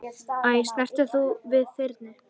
Æ, snertir þú við þyrni?